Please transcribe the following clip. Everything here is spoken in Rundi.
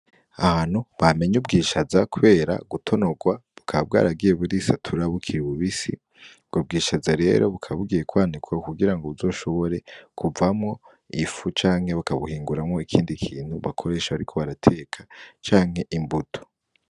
Ahantu bamenye ubwishaza kubera gutonorwa bukaba bwaragiye burisatura bukiri bubisi, ubwo bwishaza rero bukaba bugiye kwanikwa kugirango bazoshobore kuvamwo ifu canke bakabuhinguramwo ikindi kintu bakoresha bariko barateka canke imbuto.